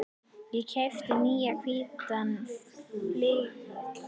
Ég keypti nýjan hvítan flygil.